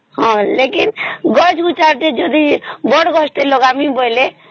ହଁ ଲେକିନ ଗଛ ଗୁଚ୍ଛା କେ ବଡ ଗଛ ଗୋଟେ ଲଗାମୀ ବୋଇଲେ